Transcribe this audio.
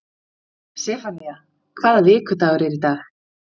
Sefanía, hvaða vikudagur er í dag?